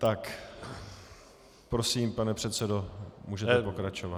Tak prosím, pane předsedo, můžete pokračovat.